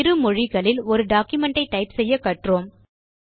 இரு மொழிகளில் ஒரு டாக்குமென்ட் ஐ டைப் செய்ய கற்றோம்